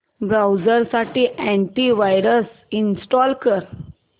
browser साठी antivirus install कर